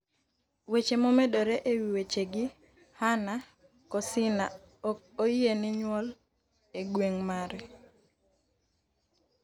Weche momedore ewi wechegi .Hannah Kosinah ok oyiene nyuol e gweng' mare.,